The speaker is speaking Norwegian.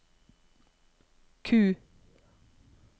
Q